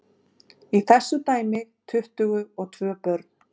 Í þessu dæmi tuttugu og tvö börn.